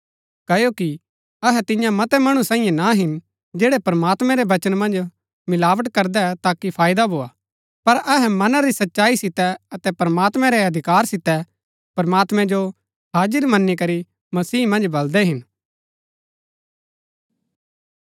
क्ओकि अहै तियां मतै मणु सांईये ना हिन जैड़ै प्रमात्मैं रै वचन मन्ज मिलावट करदै ताकि फायदा भोआ पर अहै मना री सच्चाई सितै अतै प्रमात्मैं रै अधिकार सितै प्रमात्मैं जो हाजिर मनी करी मसीह मन्ज बलदै हिन